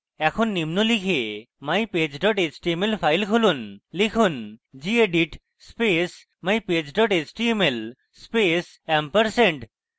এখন নিম্ন লিখে mypage html file খুলুন লিখুন gedit space mypage html space ampersand